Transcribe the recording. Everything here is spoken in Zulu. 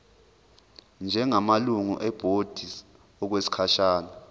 njengamalungu ebhodi okwesikhashana